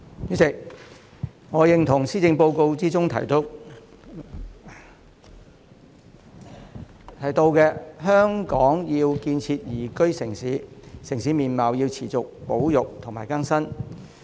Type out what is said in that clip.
主席，我認同施政報告中提到香港要建設宜居城市，城市面貌要持續保育和更新。